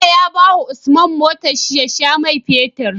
Bello ya bawa usman motar shi ya sha mai fetir